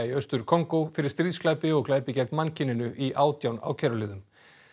í Austur Kongó fyrir stríðsglæpi og glæpi gegn mannkyninu í átján ákæruliðum